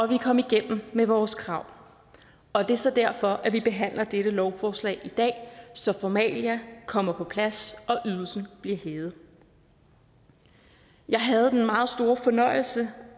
vi kom igennem med vores krav og det er så derfor at vi behandler dette lovforslag i dag så formalia kommer på plads og ydelsen bliver hævet jeg havde den meget store fornøjelse